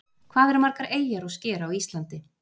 Hvað eru margar eyjar og sker á Íslandi?